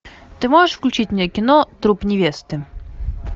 ты можешь включить мне кино труп невесты